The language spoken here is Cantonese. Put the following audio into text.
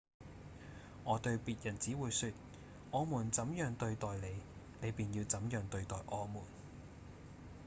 我對別人只會說我們怎樣對待你你便要怎樣對待我們